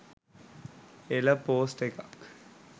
එළ පෝස්ට් එකක්